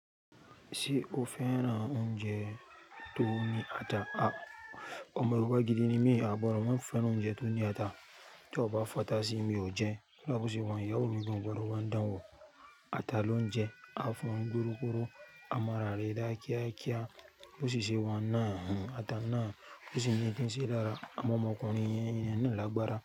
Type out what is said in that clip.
Ṣé o fẹ́ran oúnjẹ tó ní ata? Àwọn ọmọ ọba gidi ní mí, bọ̀ awọ́n fẹ́ran oúnjẹ tó ní ata. Tí o bá fata sí mi oje, kódà bó ṣe wàyíí, ìyàwó gan kò gbọdọ̀ bá mi dán wò. Ta ló ń jẹ àfọ́n dúrókúrò, amára rẹ dá kíákíá, ló sì ṣe wọ́n nà án. Ta náà ló sì ń dínṣẹ́ dára, àmọ́ ọmọkùnrin yẹn nìyẹn ni lágbára.